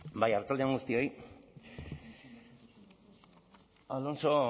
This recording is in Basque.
bai arratsalde on guztioi alonso